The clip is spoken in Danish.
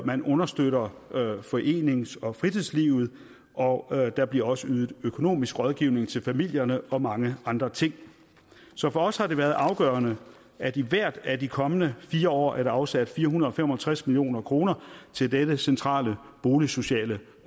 man understøtter forenings og fritidslivet og der bliver også ydet økonomisk rådgivning til familierne og mange andre ting så for os har det været afgørende at i hvert af de kommende fire år er der afsat fire hundrede og fem og tres million kroner til dette centrale boligsociale